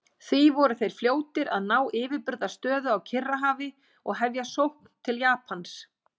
Því voru þeir fljótir að ná yfirburðastöðu á Kyrrahafi og hefja sókn til Japans.